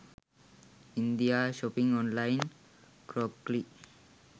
india shopping online crockery